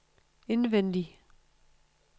indvendig